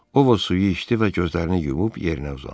Ovu suyu içdi və gözlərini yumub yerinə uzandı.